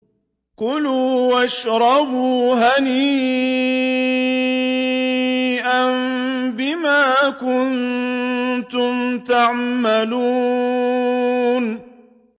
كُلُوا وَاشْرَبُوا هَنِيئًا بِمَا كُنتُمْ تَعْمَلُونَ